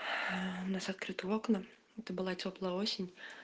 у нас открытые окна это была тёплая осень